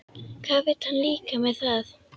Hvað vill hann líka með það?